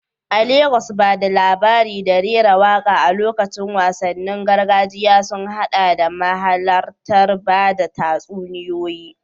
A Legas, ba da labari da rera waƙa a lokacin wasannin gargajiya sun haɗa da mahalartar bada tatsuniyoyi